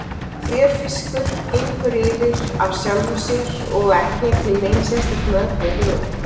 Fjörfiskur gengur yfir af sjálfu sér og ekki er til nein sérstök meðferð við honum.